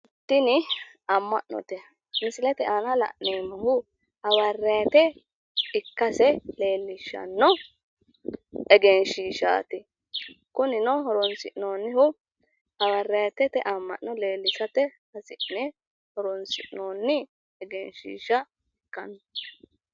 Tuni amma'note. Misilete aana la'neemmohu hawariate ikkase leellishshanno egenshiishaati. kunino horonsi'noonnihu hawariatete amma'no lellishate hasi'ne horon'sinoonni egenshiishsha ikkano.